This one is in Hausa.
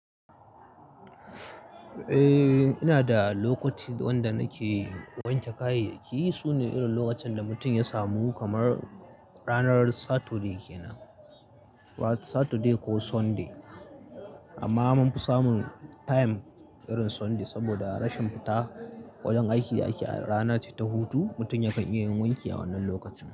Eh, ina da lokoti wanda nake wanke kayayyaki. Su ne irin lokacin da mutum ya samu kamar ranar Saturday kenan, Saturday ko Sunday. Amma mun fi samun time irin Sunday saboda a rashin fita wajen aiki da aiki a rana ce ta hutu, mutum yakan iya yin wanki a wannan lokaci.